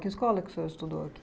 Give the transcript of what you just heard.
Que escola que o senhor estudou aqui?